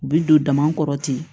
U bi don dama kɔrɔ ten